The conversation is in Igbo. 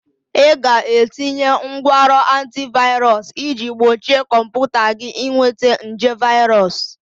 Ị ga-etinye ngwanrọ antivirus iji gbochie kọmputa gị ịnweta nje virus